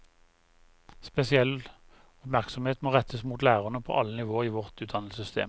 Spesiell oppmerksomhet må rettes mot lærere på alle nivåer i vårt utdannelsessystem.